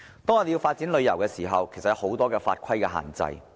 我們發展旅遊業，其實受到很多法規的限制。